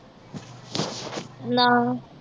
ਨਾ।